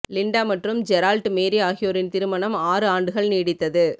Linda மற்றும் Gerald Mary ஆகியோரின் திருமணம் ஆறு ஆண்டுகள் நீடித்தது